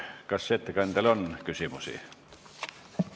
Kas ettekandjale on küsimusi?